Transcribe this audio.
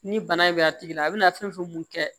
Ni bana in bɛ a tigi la a bɛna fɛn fɛn mun kɛ